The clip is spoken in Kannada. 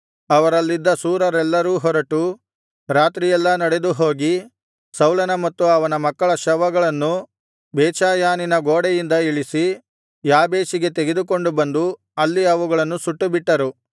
ಅವರಲ್ಲಿದ್ದ ಶೂರರೆಲ್ಲರೂ ಹೊರಟು ರಾತ್ರಿಯೆಲ್ಲಾ ನಡೆದುಹೋಗಿ ಸೌಲನ ಮತ್ತು ಅವನ ಮಕ್ಕಳ ಶವಗಳನ್ನು ಬೇತ್ಷೆಯಾನಿನ ಗೋಡೆಯಿಂದ ಇಳಿಸಿ ಯಾಬೇಷಿಗೆ ತೆಗೆದುಕೊಂಡು ಬಂದು ಅಲ್ಲಿ ಅವುಗಳನ್ನು ಸುಟ್ಟುಬಿಟ್ಟರು